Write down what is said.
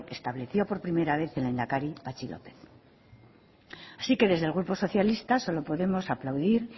estableció por primera vez el lehendakari patxi lópez así que desde el grupo socialista solo podemos aplaudir